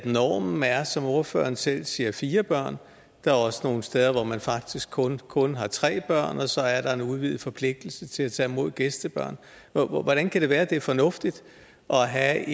normen er som ordføreren selv siger fire børn der er også nogle steder hvor man faktisk kun kun har tre børn og så er der en udvidet forpligtelse til at tage mod gæstebørn hvordan kan det være at det er fornuftigt at have